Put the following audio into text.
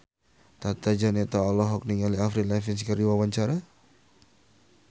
Tata Janeta olohok ningali Avril Lavigne keur diwawancara